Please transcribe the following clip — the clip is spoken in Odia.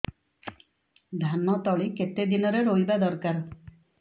ଧାନ ତଳି କେତେ ଦିନରେ ରୋଈବା ଦରକାର